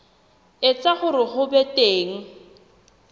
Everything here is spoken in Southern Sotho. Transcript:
etsa hore ho be teng